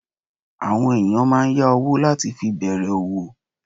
Àwọn ènìyàn máa n yá owó láti fi bèrè òwò